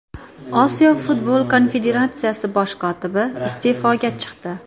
Osiyo futbol konfederatsiyasi bosh kotibi iste’foga chiqdi.